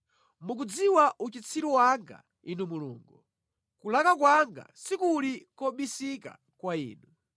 Mukudziwa uchitsiru wanga, Inu Mulungu, kulakwa kwanga sikuli kobisika kwa Inu.